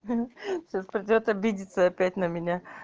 сейчас придёт обидеться опять на меня